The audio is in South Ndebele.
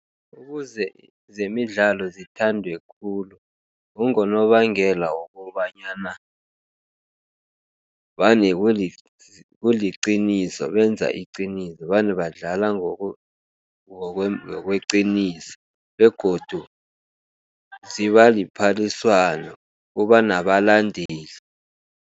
Ukuze zemidlalo zithandwe khulu, kungonobangela wokobanyana, vane kuliqiniso benza iqiniso. Vane badlala ngokweqiniso, begodu ziba liphaliswano kubanabalandeli.